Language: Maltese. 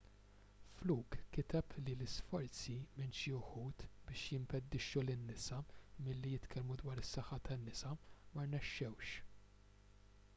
fluke kiteb li l-isforzi minn xi wħud biex jimpedixxu lin-nisa milli jitkellmu dwar is-saħħa tan-nisa ma rnexxewx